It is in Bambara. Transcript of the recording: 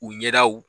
U ɲɛdaw